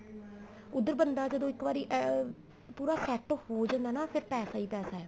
ਉੱਧਰ ਬੰਦਾ ਜਦੋਂ ਇੱਕ ਵਾਰੀ ਇਹ ਪੂਰਾ ਸੈਟ ਹੋ ਜਾਂਦਾ ਏ ਨਾ ਫੇਰ ਪੈਸਾ ਈ ਪੈਸਾ